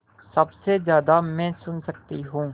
सबसे ज़्यादा मैं सुन सकती हूँ